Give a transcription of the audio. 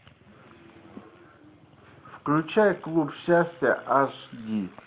включай клуб счастья аш ди